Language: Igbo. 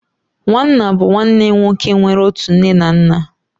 Nwanna bụ nwanne nwoke nwere otu nne na nna